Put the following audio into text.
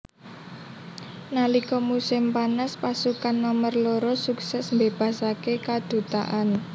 Nalika musim panas pasukan nomer loro sukses mbebasake kadutaan